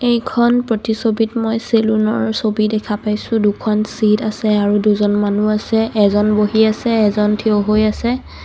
এইখন প্ৰতিছবিত মই চেলুন ৰ ছবি দেখা পাইছোঁ. দুখন চিত আছে আৰু দুজন মানুহো আছে এজন বহি আছে এজন থিয় হয় আছে.